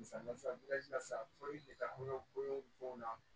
Misali la sisan fɔli bɛ taabolo bon na